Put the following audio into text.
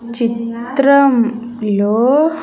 చిత్రం లో.